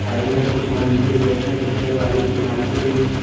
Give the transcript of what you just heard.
Side में कुछ मंदिर जैसे दिखने वाली इमारतें भी हैं।